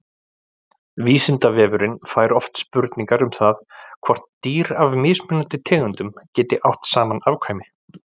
Vísindavefurinn fær oft spurningar um það hvort dýr af mismunandi tegundum geti átt saman afkvæmi.